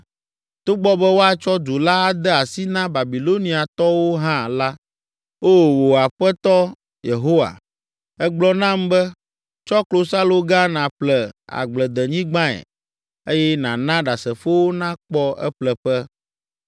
Togbɔ be woatsɔ du la ade asi na Babiloniatɔwo hã la, O, wò Aƒetɔ Yehowa, ègblɔ nam be, ‘Tsɔ klosaloga nàƒle agbledenyigbae eye nàna ɖasefowo nakpɔ eƒleƒe.’ ”